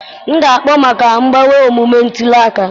M ga-akpọ maka mgbanwe omume ntuli aka